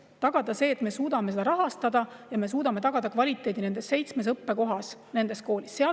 Kuidas tagada, et me suudame seda rahastada ja kvaliteedi nendes seitsmes õppekohas, nendes koolides?